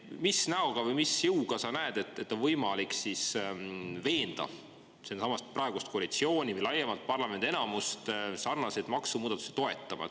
Mis näoga või mis jõuga sa näed, et on võimalik veenda praegust koalitsiooni või laiemalt parlamendi enamust sarnaseid maksumuudatusi toetama?